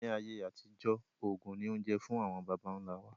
Ni ayé àtijọ́, oògùn ni oúnjẹ fún àwọn bàbà ńla wa.